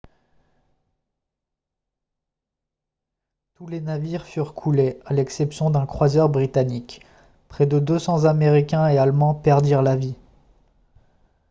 tous les navires furent coulés à l'exception d'un croiseur britannique près de 200 américains et allemands perdirent la vie